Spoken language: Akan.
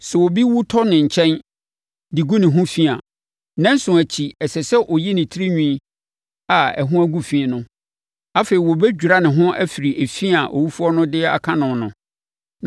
“Sɛ obi wu tɔ ne nkyɛn de gu ne ho fi a, nnanson akyi, ɛsɛ sɛ ɔyi ne tirinwi a ɛho agu fi no. Afei, wɔbɛdwira ne ho afiri efi a owufoɔ no de aka no no.